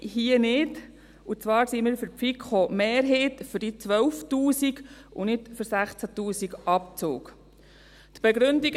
Hier nicht, und zwar sind wir für die FiKo-Mehrheit, für diese 12 000 Franken, und nicht für den Abzug von 16 000 Franken.